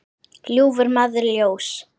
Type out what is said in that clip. ljúfur maður ljóss.